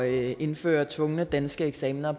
indføre tvungne danske eksamener